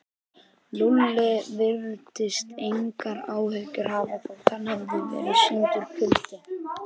Lúlli virtist engar áhyggjur hafa þótt honum hefði verið sýndur kuldi.